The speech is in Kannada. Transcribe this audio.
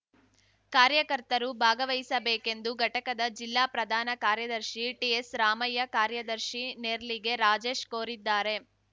ಕಾರ್ಯಕರ್ತರು ಭಾಗವಹಿಸಬೇಕೆಂದು ಘಟಕದ ಜಿಲ್ಲಾ ಪ್ರಧಾನ ಕಾರ್ಯದರ್ಶಿ ಟಿಎಸ್‌ರಾಮಯ್ಯ ಕಾರ್ಯದರ್ಶಿ ನೇರ್ಲಿಗೆ ರಾಜೇಶ್‌ ಕೋರಿದ್ದಾರೆ